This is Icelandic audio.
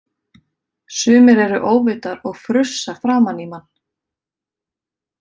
Sumir eru óvitar og frussa framan í mann!